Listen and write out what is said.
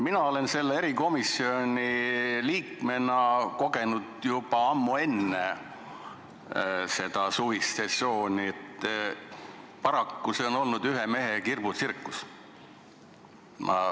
Mina olen selle erikomisjoni liikmena kogenud juba ammu enne seda suvist sessiooni, et paraku on see olnud ühe mehe kirbutsirkus.